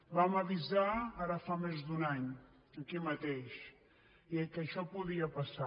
vam avisar ara fa més d’un any aquí mateix que això podia passar